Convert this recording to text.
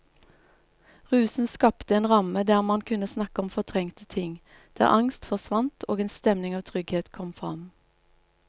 Rusen skapte en ramme der man kunne snakke om fortrengte ting, der angst forsvant og en stemning av trygghet kom fram.